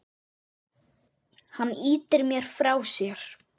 Hann ýtir mér frá sér.